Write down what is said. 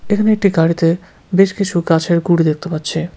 এখানে একটি গাড়িতে বেশ কিছু গাছের গুঁড়ি দেখতে পাচ্ছি।